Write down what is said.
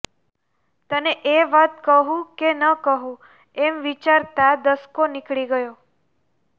તને એ વાત કહું કે ન કહું એમ વિચારતાં દસકો નીકળી ગયો